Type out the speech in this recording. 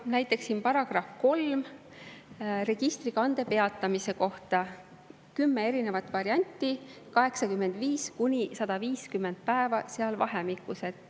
Näiteks §-s 3 registrikande peatamise kohta on kümme erinevat varianti 85–150 päeva vahemikus.